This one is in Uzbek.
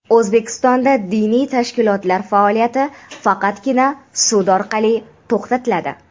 O‘zbekistonda diniy tashkilotlar faoliyati faqatgina sud orqali to‘xtatiladi.